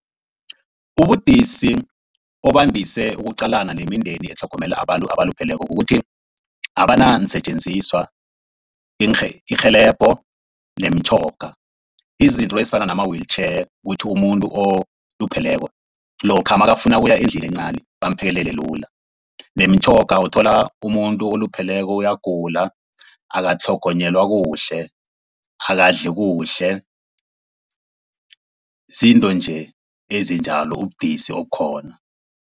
Ubudisi obandise ukuqalana nemindeni etlhogomela abantu abalupheleko kukuthi abanansetjenziswa, irhelebho nemitjhoga. Izinto ezifana nama-wheelchair kuthi umuntu olupheleko lokha nakafuna ukuya endlini encani bamphekelele lula. Nemitjhoga uthola umuntu olupheleko uyagula akatlhogonyelwa kuhle, akadli kuhle izinto nje ezinjalo ubudisi okukhona.